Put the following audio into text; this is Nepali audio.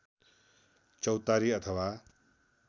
चौतारी अथवा